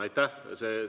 Aitäh!